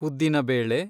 ಉದ್ದಿನ ಬೇಳೆ